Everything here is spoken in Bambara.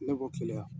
Ne b'o keleya yan